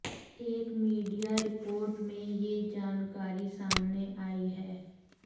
एक media report में यह जानकारी सामने आई है